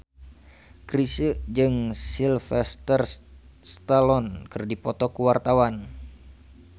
Chrisye jeung Sylvester Stallone keur dipoto ku wartawan